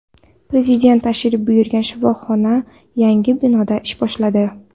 Prezident tashrif buyurgan shifoxona yangi binoda ish boshladi.